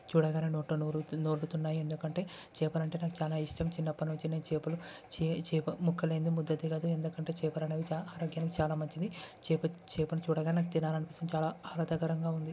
చూడగానే నోట్లో నోరూరు ఊరుతున్నయి ఎందుకంటే. చేపలంటే నాకు చాలా ఇష్టం చిన్నప్పటినుండి నేను చేపలు చే చేప ముక్కలేని ముద్ద దిగదు ఎందుకంటే చేపలు అనేవి చా ఆరోగ్యానికి చాలా మంచిది చేప చేపని చూడగానే నాకు తినాలనిపిస్తుంది. చాలా ఆనందకరంగా ఉంది.